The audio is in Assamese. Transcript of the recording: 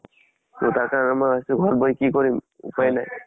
so তাকে ঘৰত বহি কি কৰিম, উপাই নাই।